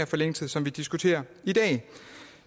forlængelse som vi diskuterer i dag